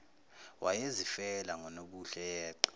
wayezifela ngonobuhle yeqe